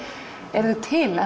eru þau til